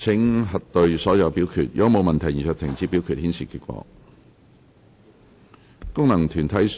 如果沒有問題，現在停止表決，顯示結果。